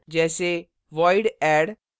जैसे; void add